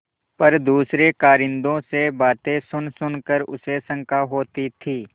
पर दूसरे कारिंदों से बातें सुनसुन कर उसे शंका होती थी